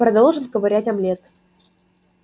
продолжив ковырять омлет